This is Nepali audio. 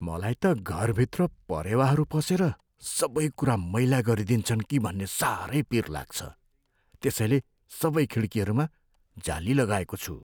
मलाई त घरभित्र परेवाहरू पसेर सबै कुरा मैला गरिदिन्छन् कि भन्ने साह्रै पिर लाग्छ। त्यसैले सबै खिड्कीहरूमा जाली लगाएको छु।